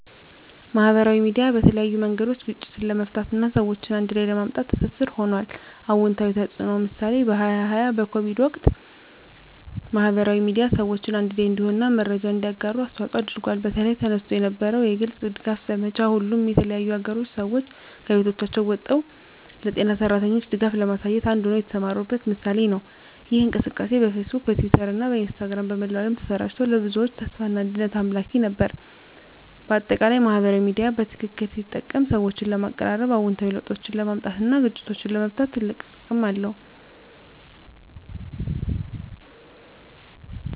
ማህበራዊ ሚዲያ በተለያዩ መንገዶች ግጭትን ለመፍታት እና ሰዎችን አንድ ላይ ለማምጣት ትስስር ሆኗል። #*አዎንታዊ ተፅዕኖ (ምሳሌ) በ2020 በኮቪድ-19 ወቅት፣ ማህበራዊ ሚዲያ ሰዎችን አንድ ላይ እንዲሆኑ እና መረጃን እንዲያጋሩ አስተዋፅዖ አድርጓል። በተለይ፣ ተነስቶ የነበረው የግልጽ ድጋፍ ዘመቻ፣ ሁሉም የተለያዩ አገሮች ሰዎች ከቤቶቻቸው ወጥተው ለጤና ሠራተኞች ድጋፍ ለማሳየት አንድ ሆነው የተሰማሩበት ምሳሌ ነው። ይህ እንቅስቃሴ በፌስቡክ፣ በትዊተር እና በኢንስታግራም በመላው ዓለም ተሰራጭቶ፣ ለብዙዎች ተስፋና አንድነት አምላኪ ነበር። በአጠቃላይ፣ ማህበራዊ ሚዲያ በትክክል ሲጠቀም ሰዎችን ለማቀራረብ፣ አዎንታዊ ለውጦችን ለማምጣት እና ግጭቶችን ለመፍታት ትልቅ አቅም አለው።